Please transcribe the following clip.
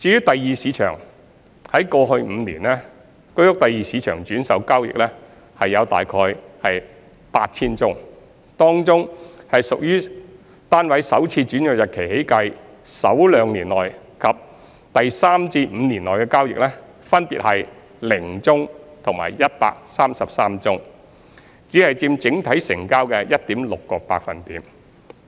第二市場方面，在過去5年，居屋第二市場轉售交易共約 8,000 宗，當中屬於單位首次轉讓日期起計首兩年內及第三至五年內的交易，分別為0宗和133宗，只佔整體成交的 1.6%。